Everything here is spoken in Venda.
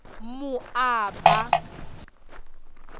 moaba